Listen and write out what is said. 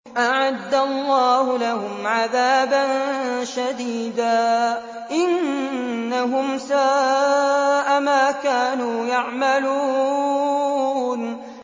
أَعَدَّ اللَّهُ لَهُمْ عَذَابًا شَدِيدًا ۖ إِنَّهُمْ سَاءَ مَا كَانُوا يَعْمَلُونَ